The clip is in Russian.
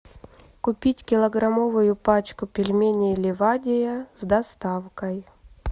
купить килограммовую пачку пельменей ливадия с доставкой